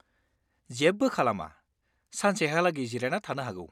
जेबो खालामा, सानसेहालागै जिरायना थानो हागौ।